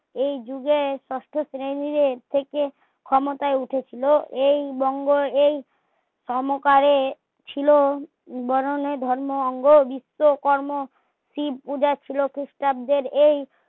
এই যুগের ষষ্ট শ্রণী দের থেকে ক্ষমতায় উঠিছিলো এই বঙ্গে এই সমকারে ছিলো বরন ধর্ম অঙ্গ বিস্বকর্ম শিব পূজা ছিলো ক্রিস্টাব্দে এই